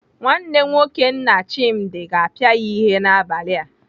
Nwanne nwoke nna Chimdi ga-apịa ya ihe n'abalị a.